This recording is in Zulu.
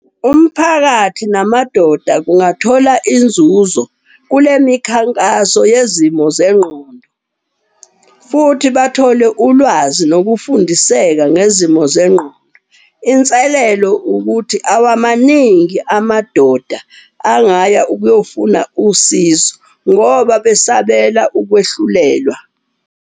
Umphakathi namadoda kungathola inzuzo kule mikhankaso yezimo zengqondo. Futhi bathole ulwazi nokufundiseka ngezimo zengqondo. Inselelo ukuthi awamaningi amadoda angaya ukuyofuna usizo ngoba besabela ukwehlulelwa.